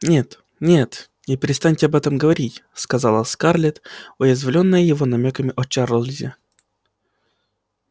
нет нет и перестаньте об этом говорить сказала скарлетт уязвлённая его намёками о чарлзе